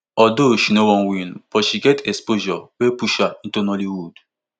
although she no win but she get exposure wey push her into nollywood